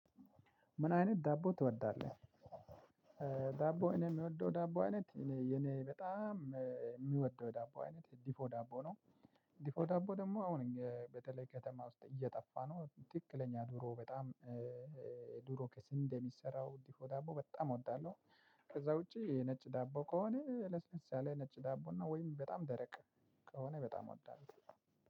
ምን አይነት ዳቦ ትወዳለህ? ዳቦ እኔ ምወደው ዳቦ አይነት እኔ የኔ በጣም ሚወደው ዳቦ አይነት ድፎ ዳቦ ነው። ድፎ ዳቦ ደሞ አሁን በተለይ ከተማ ውስጥ እየጠፋ ነው ትክክለኛ ድሮ በጣም ድሮ ከስንዴ የሚሰራው እንዲህ ድፎ ዳቦ በጣም እወዳለው። ከዛ ውጪ ነጭ ዳቦ ከሆነ ለስለስ ያለ ነጭ ዳቦ ነው ወይም በጣም ደረቅ ከሆነ በጣም እወዳለው።